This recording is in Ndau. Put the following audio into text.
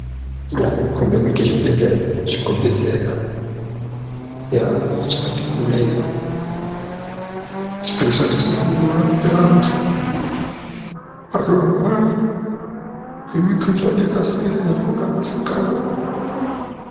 Yaa zvokombe kuite chibhedhleya chikobhodhleya yaa chakati kurei chinoshandiswe kurape antu anorwara ngemukhuhlani yakasihlukana hlukana.